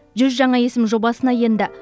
жүз жаңа есім жобасына енді